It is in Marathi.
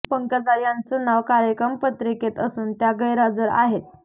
पंकजा यांचं नाव कार्यक्रम पत्रिकेत असून त्या गैरहजर आहेत